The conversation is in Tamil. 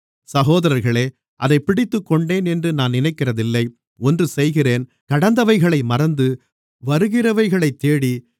சகோதரர்களே அதைப் பிடித்துக்கொண்டேன் என்று நான் நினைக்கிறதில்லை ஒன்று செய்கிறேன் கடந்தவைகளை மறந்து வருகிறவைகளைத் தேடி